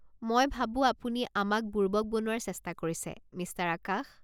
মই ভাবো আপুনি আমাক বুৰ্বক বনোৱাৰ চেষ্টা কৰিছে, মিষ্টাৰ আকাশ।